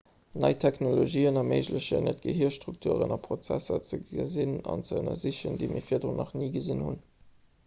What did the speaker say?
nei technologien erméiglechen eis et gehirstrukturen a prozesser ze gesinn an ze ënnersichen déi mir virdrun nach ni gesinn hunn